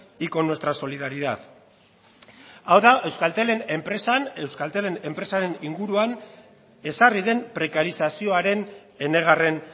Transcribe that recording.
y con nuestra solidaridad hau da euskaltelen enpresan euskaltelen enpresaren inguruan ezarri den prekarizazioaren enegarren